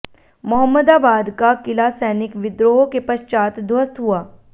मोहम्मदाबाद का किला सैनिक विद्रोह के पश्चात ध्वस्त हुआ